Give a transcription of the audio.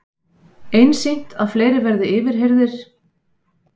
Einsýnt að fleiri verði yfirheyrðir